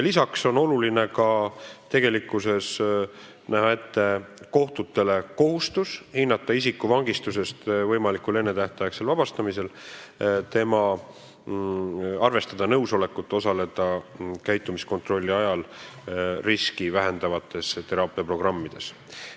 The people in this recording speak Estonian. Lisaks tuleb tegelikkuses näha kohtutele ette kohustus hinnata isikut võimalikul ennetähtaegsel vangistusest vabastamisel ja arvestada nõusolekut osaleda käitumiskontrolli ajal riski vähendavates teraapiaprogrammides.